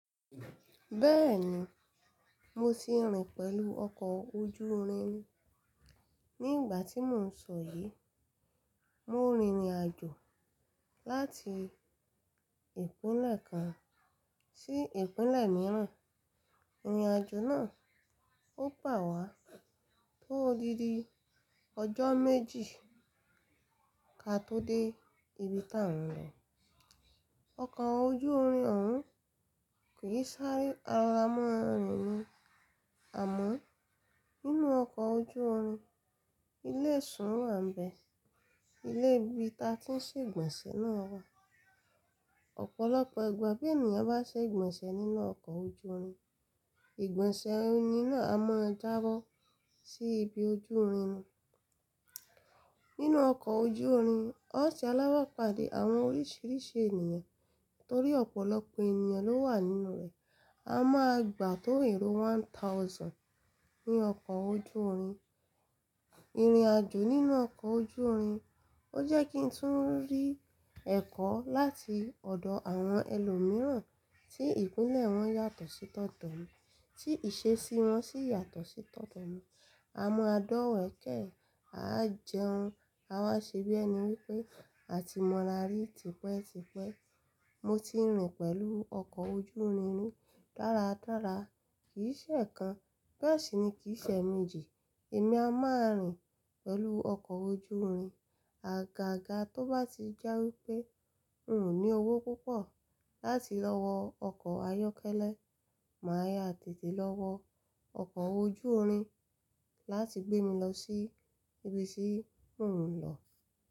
Bẹ́ẹ̀ni, mo ti rìn pẹ̀lú ọkọ̀ ojú irin. Ní ìgbà tí mò ń sọ yí, mo rìnrìn-àjò láti ìpínlẹ̀ kan sí ìpínlẹ̀ mìíràn. Ìrìn-àjò náà ó gbà wá tó odindi ọjọ́ méjì ká tó dé ibi tá ń lọ. Ọkọ̀ ojú irin òhún kì í sáré a rọra mọ́ rìn ní. Àmọ́ nínú ọkọ̀ ojú irin, ilé-ìsùn wà ń bẹ. Ilé ibi ta tí ń ṣe ìgbọ̀nsẹ̀ náà wà. Ọ̀pọ̀lọpọ̀ ìgbà bí ènìyàn bá ṣe ìgbọ̀nsẹ̀ nínú ọkọ̀ ojú irin, ìgbọ̀nsẹ̀ ẹ̀ni náà a máa jábọ́ sí ibi ojú irin. Nínú ọkọ̀ ojú irin, ọ̀ṣe alábàápàdé àwọn oríṣiríṣi ènìyàn torí ọ̀pọ̀lọpọ̀ ènìyàn ló wà nínú rẹ̀. A máa gbà tó èrò one thousand ní ọkọ̀ ojú irin. Ìrìn-àjò nínú ọkọ̀ ojú irin, ó jẹ́ kí n tún rí ẹ̀kọ́ láti ọ̀dọ̀ àwọn ẹlòmíràn tí ìpínlẹ̀ wọn yàtọ̀ sí tọ̀tọ̀ mi, tí ìṣesí wọn sì yàtọ̀ sí tọ̀tọ̀ mi. A máa dọ̀wẹ̀ẹ́kẹ́, a jẹun, a máa ṣe bí ẹni wípé a ti mọra rí tipẹ́tipẹ́. Mo ti rìn pẹ̀lú ọkọ̀ ojú irin rí dáradára. Kì í ṣe ẹ̀ẹ̀kan, bẹ́ẹ̀ sì ni kì í ṣe ẹméjì èmi a máa rìn pẹ̀lú ọkọ̀ ojú irin. Àga ga tó bá ti jẹ́ wípé n ò ní owó púpọ̀ láti lọ wọ ọkọ̀ ayọ́kẹ́lẹ́, màá yá tètè lọ wọ ọkọ̀ ojú irin láti gbé mi lọ sí ibi tí mò ń lọ.